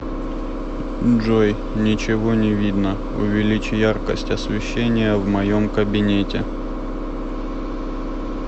джой ничего не видно увеличь яркость освещения в моем кабинете